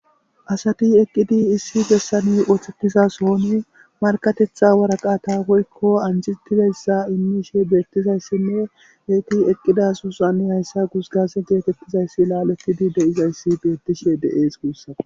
asati eqqidi issi bessani osettiza sohoni markatetha waraqata woykko anjetidayssa immishe beettizayssinne heyti eqqidaso sohan hayssa gusgaze geetettizayssi laaletidi de7izayssi beettishe de7ees guussakko.